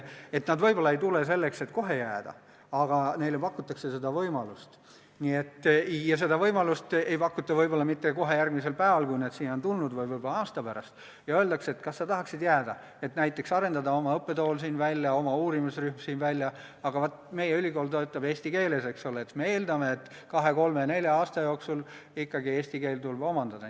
Nad võib-olla ei tule kohe selleks, et jääda, aga neile pakutakse seda võimalust – ja seda võimalust ei pakuta võib-olla mitte kohe järgmisel päeval, kui nad on siia tulnud, vaid võib-olla aasta pärast, ja öeldakse, et kas sa tahaksid jääda, et näiteks arendada siin välja oma õppetool, oma uurimisrühm, aga vaata, meie ülikool töötab eesti keeles, eks ole – ja siis me eeldame, et kahe-kolme-nelja aasta jooksul tuleb eesti keel ikkagi omandada.